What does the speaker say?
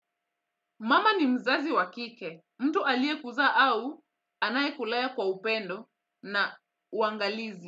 Mama ni mzazi wa kike, mtu aliyekuzaa au anayekulea kwa upendo na uangalizi.